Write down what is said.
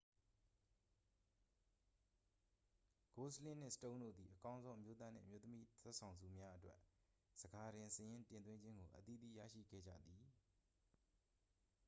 ဂိုစလင်းနှင့် စတုန်းတို့သည် အကောင်းဆုံး အမျိုးသားနှင့် အမျိုးသမီး ဇာတ်ဆောင်ဆုများအတွက် ဆန်ခါတင် စာရင်းတင်သွင်းခြင်းကို အသီးသီးရရှိခဲ့ကြသည်